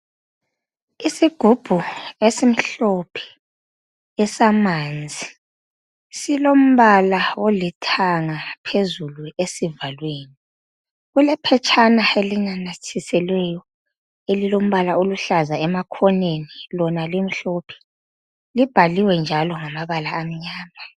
Isigubhu esimhlophe esamanzi silomba olithanga phezulu esivakweni. Kulephetshana elinanyathiselweyo elilombala oluhlaza emakhoneni, lona limhlophe. Libhaliwe njalo ngamabala amnyama.